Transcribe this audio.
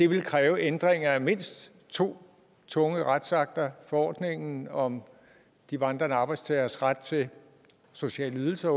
vil kræve ændringer af mindst to tunge retsakter forordningen om de vandrende arbejdstageres ret til sociale ydelser